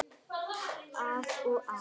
Að og af.